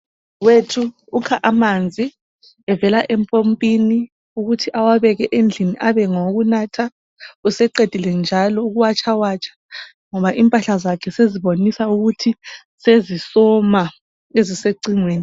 Udadewethu ukha amanzi evela empompini ukuthi ewabeka endlini abe ngawokunatha useqedile njalo ukuwatshawatsha ngoba impahla sezibonisa ukuthi sezisoma ezisecingweni.